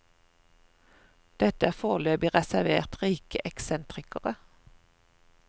Dette er foreløpig reservert rike eksentrikere.